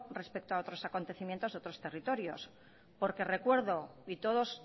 respecto a otros acontecimientos de otros territorios porque recuerdo y todos